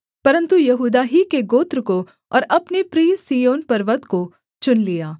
परन्तु यहूदा ही के गोत्र को और अपने प्रिय सिय्योन पर्वत को चुन लिया